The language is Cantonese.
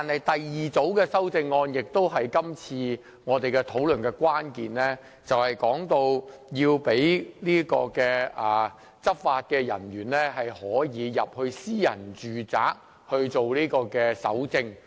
第二組修正案是今次討論的關鍵，就是要讓執法人員進入私人住宅搜證。